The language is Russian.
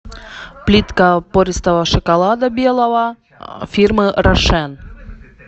плитка пористого шоколада белого фирмы рошен